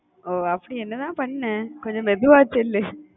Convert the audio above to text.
ஓ, அப்படி என்னதான் பண்ண? கொஞ்சம் மெதுவா சொல்லு